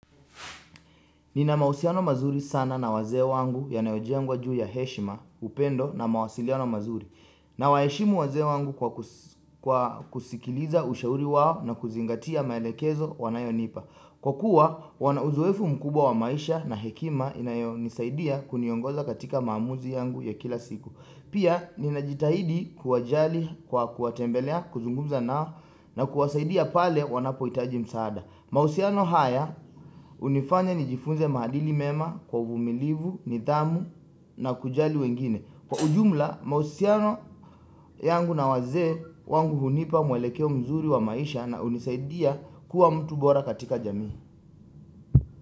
Nina mahusiano mazuri sana na wazee wangu yanayojengwa juu ya heshima upendo na mawasiliano mazuri nawaheshimu wazee wangu kwa kusikiliza ushauri wao na kuzingatia maelekezo wanayonipa. Kwa kuwa wana uzoefu mkubwa wa maisha na hekima inayonisaidia kuniongoza katika maamuzi yangu ya kila siku. Pia ninajitahidi kuwajali kwa kuwatembelea kuzungumza nao na kuwasaidia pale wanapohitaji msaada. Mahusiano haya hunifanya nijifunze maadili mema kwa uvumilivu, nidhamu na kujali wengine. Kwa ujumla, mahusiano yangu na wazee wangu hunipa mwelekeo mzuri wa maisha na hunisaidia kuwa mtu bora katika jamii.